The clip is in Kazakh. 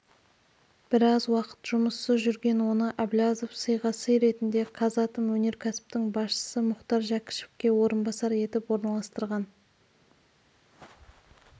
біраз уақыт жұмыссыз жүрген оны әблязов сыйға сый ретінде қазатом өнеркәсіптің басшысы мұхтар жәкішевке орынбасар етіп орналастырған